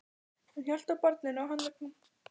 Hann hélt á barninu á handleggnum.